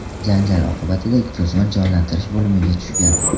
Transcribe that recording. Janjal oqibatida ikki o‘smir jonlantirish bo‘limiga tushgan.